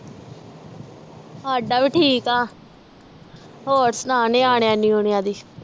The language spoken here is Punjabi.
ਸਾਡਾ ਵੀ ਠੀਕ ਆ ਹੋਰ ਸੁਣਾ ਨਿਆਣਿਆਂ ਨਯੂਨਿਆਂ ਦੀ?